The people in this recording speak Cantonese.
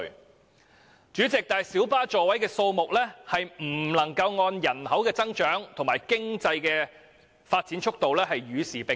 可是，主席，小巴座位的數目並未有隨着人口增長及經濟發展的速度與時並進。